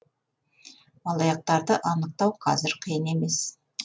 алаяқтарды анықтау қазір қиын емес